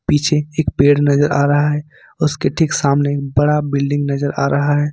पीछे एक पेड़ नजर आ रहा है उसके ठीक सामने बड़ा बिल्डिंग नजर आ रहा है।